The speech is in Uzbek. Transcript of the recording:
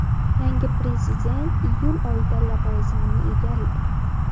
Yangi prezident iyul oyida lavozimini egallaydi.